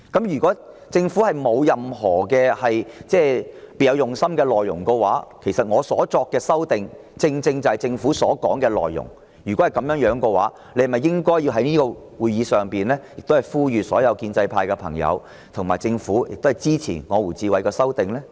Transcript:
如果政府不是別有用心，而我提出的修訂議案又正正是政府所表述的內容，那政府不是應該在議會上呼籲所有建制派議員和政府官員一同支持由我提出的修訂議案嗎？